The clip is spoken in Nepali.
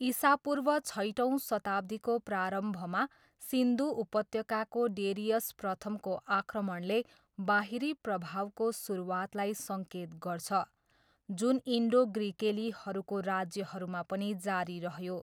इसापूर्व छैटौँ शताब्दीको प्रारम्भमा सिन्धु उपत्यकाको डेरियस प्रथमको आक्रमणले बाहिरी प्रभावको सुरुवातलाई सङ्केत गर्छ जुन इन्डो ग्रिकेलीहरूको राज्यहरूमा पनि जारी रह्यो।